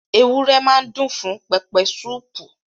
Ewúrẹ́ máa dùn fún pẹpẹsúpù